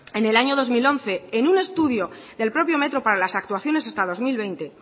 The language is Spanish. en el año dos mil once en un estudio del propio metro para las actuaciones hasta dos mil veinte